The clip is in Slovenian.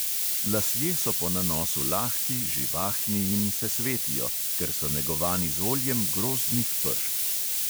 Lasje so po nanosu lahki, živahni in se svetijo, ker so negovani z oljem grozdnih pešk.